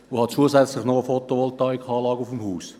Ich habe zusätzlich noch eine Fotovoltaikanlage auf meinem Haus.